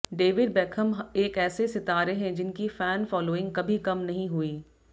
David Beckham एक ऐसे सितारे हैं जिनकी फैन फॉलोइंग कभी कम नहीं हुई